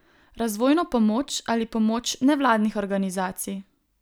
Razvojno pomoč ali pomoč nevladnih organizacij?